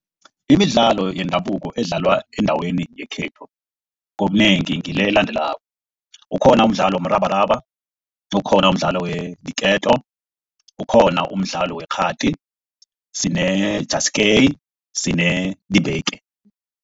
Imidlalo yendabuko edlalwa endaweni yekhethu ngobunengi ngile elandelako, ukhona umdlalo womrabaraba, ukhona umdlalo weenketo, ukhona umdlalo wekghadi sine , sine